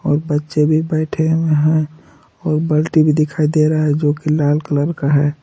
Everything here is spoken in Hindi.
बच्चे भी बैठे हुए है और बाल्टी भी दिखाई दे रहा हैं जो कि लाल कलर का है।